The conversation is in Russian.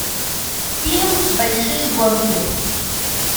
фильм большие гонки